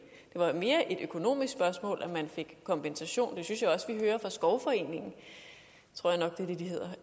var mere et økonomisk spørgsmål om man fik kompensation det synes jeg også at vi hører fra skovforeningen